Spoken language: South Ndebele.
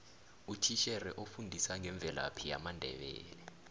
utitjhere ofundisa ngemvelaphi yamandebele